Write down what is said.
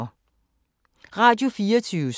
Radio24syv